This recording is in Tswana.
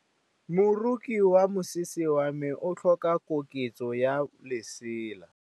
Moroki wa mosese wa me o tlhoka koketsô ya lesela.